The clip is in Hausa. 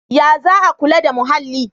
Ya za a kula da muhalli?